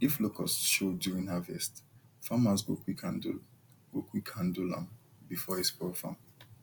if locust show during harvest farmers go quick handle go quick handle am before e spoil farm